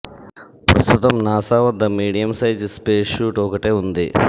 ప్రస్తుతం నాసా వద్ద medium size space suit ఒకటే ఉంది